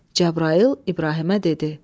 Cəbrayıl İbrahimə dedi: